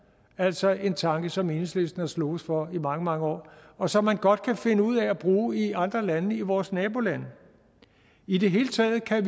altså en tanke som enhedslisten har sloges for i mange mange år og som man godt kan finde ud af at bruge i andre lande i vores nabolande i det hele taget kan